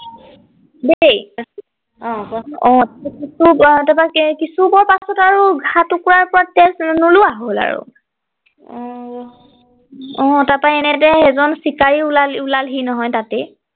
দেই অ কোৱা চোন অ তাৰ পৰা কিছু সময় পাছত আৰু ঘাঁ টুকুৰাত পৰা তেজ নোলোৱা হল আৰু অহ অ তাৰ পৰা এনেতে এজন চিকাৰী ওলাল ওলাল হি নহয় তাতেই